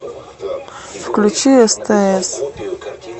включи стс